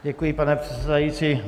Děkuji, pane předsedající.